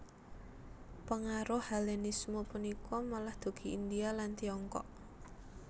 Pengaruh Hellenisme punika malah dugi India lan Tiongkok